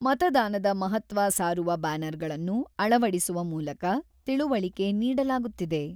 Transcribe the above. ಮತದಾನದ ಮಹತ್ವ ಸಾರುವ ಬ್ಯಾನರ್‌ಗಳನ್ನು ಅಳವಡಿಸುವ ಮೂಲಕ ತಿಳುವಳಿಕೆ ನೀಡಲಾಗುತ್ತಿದೆ.